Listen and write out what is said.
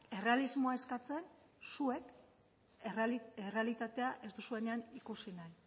errealismoa eskatzen zuek errealitatea ez duzuenean ikusi nahi